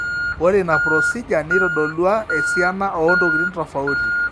ore ina procedure neitodolua esiana oontokitin tofauti